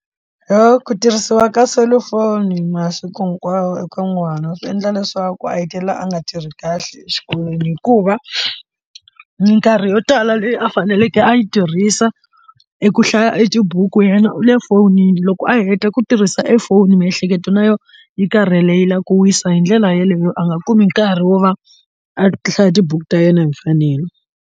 Yoh ku tirhisiwa ka selufoni masiku hinkwawo eka n'wana swi endla leswaku a hetelela a nga tirhi kahle exikolweni hikuva minkarhi yo tala leyi a faneleke a yi tirhisa eku hlaya tibuku yena u le fonini loko a heta ku tirhisa e foni miehleketo na yona yi karhele yi lava ku wisa hi ndlela yeleyo a nga kumi nkarhi wo va a hlaya tibuku ta yena hi mfanelo.